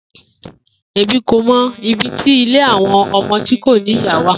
Emi ko mọ ibiti ile awọn ọmọ ti ko ni iya wa.